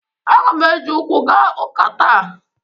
Aga m eji ụkwụ gaa ụka taa.